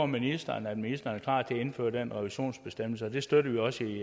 ministeren at ministeren er klar til at indføre den revisionsbestemmelse og det støtter vi også